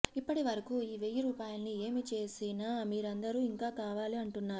ఇప్పటి వరకు ఈ వెయ్యి రూపాయల్ని ఏమి చేసిన మీరందరూ ఇంకా కావాలి అంటున్నారు